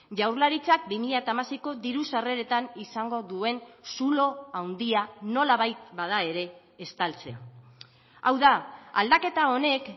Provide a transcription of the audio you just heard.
jaurlaritzak bi mila hamaseiko diru sarreretan izango duen zulo handia nolabait bada ere estaltzea hau da aldaketa honek